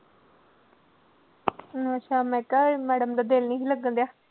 ਅੱਛਾ ਮੈ ਕਾ ਇਹ ਮੈਡਮ ਦਾ ਦਿਲ ਨੀ ਸੀ ਲੱਗਣ ਡੇਆ